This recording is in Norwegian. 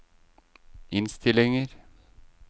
innstillinger